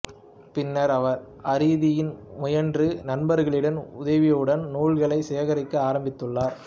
பின்னர் அவர் அரிதின் முயன்று நண்பர்களின் உதவியுடன் நூல்களைச் சேகரிக்க ஆரம்பித்துள்ளார்